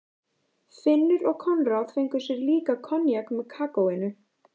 Finnur og Konráð fengu sér líka koníak með kakóinu.